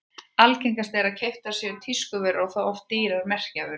Algengast er að keyptar séu tískuvörur og þá oft dýrar merkjavörur.